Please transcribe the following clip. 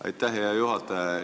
Aitäh, hea juhataja!